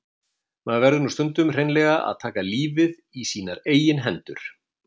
Maður verður nú stundum hreinlega að taka lífið í sínar eigin hendur.